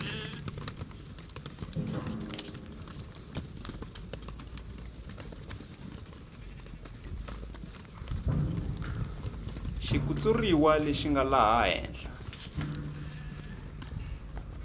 xitshuriwa lexi nga laha henhla